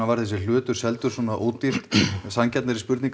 var þessu hlutur seldur svona ódýrt en sanngjarnari spurning